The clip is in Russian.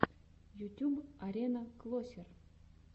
ютюб арена клосер